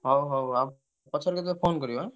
ହଉ ହଉ ଆଉ ପଛରେ କେତବେଳେ phone କରିବ ଆଁ।